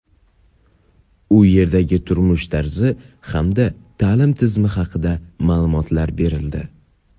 u yerdagi turmush tarzi hamda ta’lim tizimi haqida ma’lumotlar berildi.